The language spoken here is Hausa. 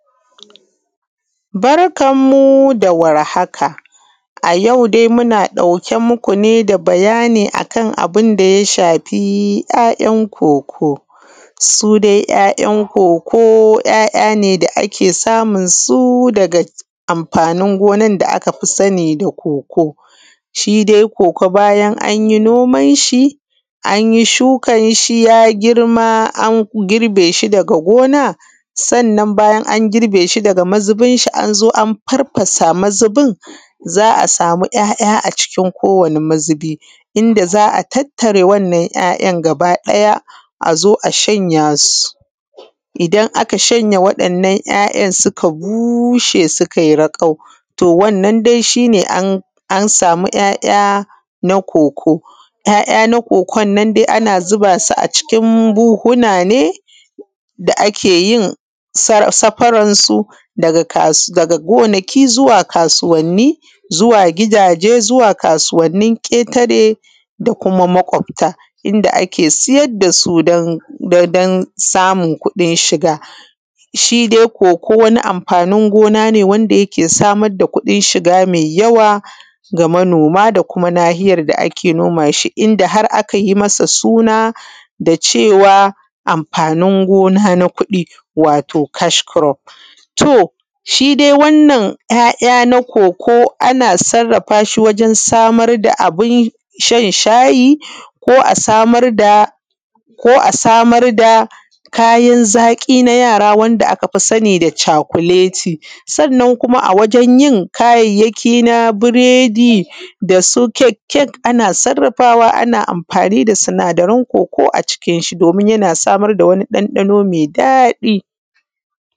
Barkan mu da warhaka. A yau dai muna ɗauke muku dabayani akan aya shafi ‘ya’ ‘yan’ koko. ‘ya’ ‘yan’ koko ‘ya’ ‘ya’ ne da akafi samunsu daga amfanin gonan da akafi sani da koko. Shi dai koko bayan anyi noman shi anyi shukan shi ya girma an grbe shi daga gona, sannan bayan an girbe shi daga mazubin shi An zo an farfasa mazubin a wani mazubin za’a sami ‘ya’ ‘ya’ a cikin kowanni mazubi inda za’a inda za’a tattare wannan ‘ya’ ‘yan’ gaba ɗaya azo a shanya su, idan aka wannan ‘ya’ ‘yan’ suka bushe sukai raƙau wannan dai shine an sami ‘ya’ ‘ya’ na koko. ‘ya’ ‘ya’ na kokon nan dai ana zubasu a buhuna ne da akeyin safaran su daga gonaki zuwa kasuwanni, zuwa gidaje, zuwa kasuwannin ketare da kuma maƙafta inda ake siyar dasu dan samun kuɗin shiga. Shi dai koko wani amfanin gona ne wanda yake samar da kuɗin shiga mai yawa ga manoma da kuma nahiyar da ake nomashi inda har akayi masa suna da cewa amfanin gona na kuɗi wato kaskurof. To shidai wannan ‘ya’ ‘ya’ na koko ana sarrafashi wajen samuna bun shan shayi ko a samar dakayan zaƙi na yara wanda akafi sani da cakuleti, sannan kuma a wajeyin kayayyaki irrinsu biredi dasu kekkek ana amfani da sinadaran koko a cikin shi domin yana samar da wani ɗan ɗano mai daɗi.